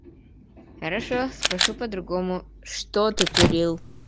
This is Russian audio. хорошо спрошу по-другому что ты курил